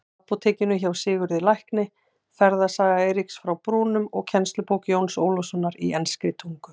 Apótekinu hjá Sigurði lækni, Ferðasaga Eiríks frá Brúnum og kennslubók Jóns Ólafssonar í enskri tungu.